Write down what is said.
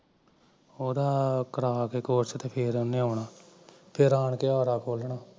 ਉਹਦਾ ਕਰਾ ਕੇ ਕੋਰਸ ਫਿਰ ਓਹਨੇ ਆਉਣਾ ਤੇ ਆਣਾ ਫਿਰ ਆਣ ਕੇ ਆਰਾ ਖੋਲਣਾ